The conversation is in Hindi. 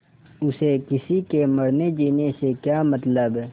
उसे किसी के मरनेजीने से क्या मतलब